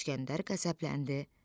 İskəndər qəzəbləndi.